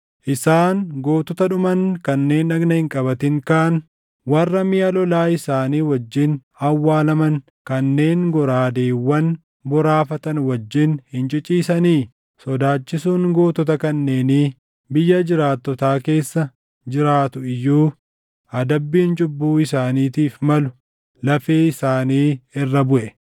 Isaan gootota dhuman kanneen dhagna hin qabatin kaan, warra miʼa lolaa isaanii wajjin awwaalaman kanneen goraadeewwan boraafatan wajjin hin ciciisanii? Sodaachisuun gootota kanneenii biyya jiraattotaa keessa jiraatu iyyuu adabbiin cubbuu isaaniitiif malu lafee isaanii irra buʼe.